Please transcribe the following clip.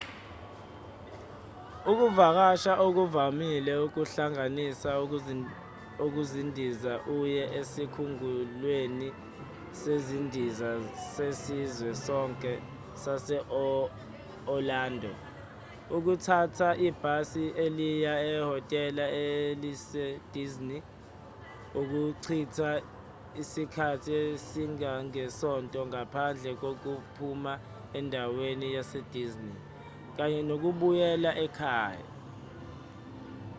ukuvakasha okuvamile kuhlanganisa ukundiza uye esikhumulweni sezindiza sezizwe zonke sase-orlando ukuthatha ibhasi eliya ehhotela elise-disney ukuchitha isikhathi esingangesonto ngaphandle kokuphuma endaweni yase-disney kanye nokubuyela ekhaya